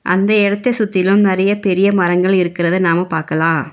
அந்த எடத்த சுத்திலும் நறைய பெரிய மரங்கள் இருக்கிறத நாம பாக்கலா.